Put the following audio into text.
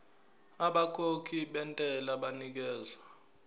abakhokhi bentela banikezwa